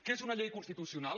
que és una llei constitucional